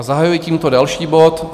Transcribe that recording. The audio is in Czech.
A zahajuji tímto další bod